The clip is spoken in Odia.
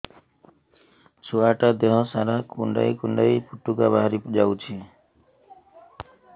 ଛୁଆ ଟା ଦେହ ସାରା କୁଣ୍ଡାଇ କୁଣ୍ଡାଇ ପୁଟୁକା ବାହାରି ଯାଉଛି